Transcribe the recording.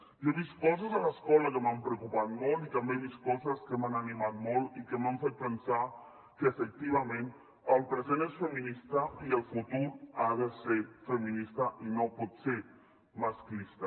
jo he vist coses a l’escola que m’han preocupat molt i també he vist coses que m’han animat molt i que m’han fet pensar que efectivament el present és feminista i el futur ha de ser feminista i no pot ser masclista